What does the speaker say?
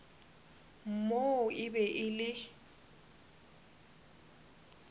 moo e be e le